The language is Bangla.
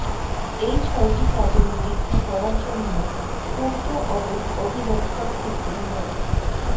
এই ছয়টি কাজের নিরীক্ষা করার জন্য পূর্ত অডিট অধিদফতর থেকে মো